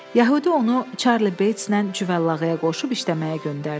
Yəhudi onu Çarli Beytslə Cüvəllahıya qoşub işləməyə göndərdi.